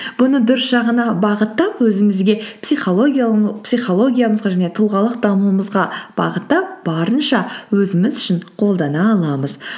бұны дұрыс жағына бағыттап өзімізге психологиямызға және тұлғалық дамуымызға бағыттап барынша өзіміз үшін қолдана аламыз